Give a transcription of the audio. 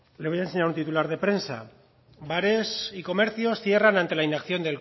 le voy a enseñar un titular de prensa bares y comercios cierran ante la inacción